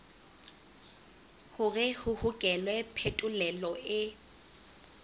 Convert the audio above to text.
hore ho hokelwe phetolelo e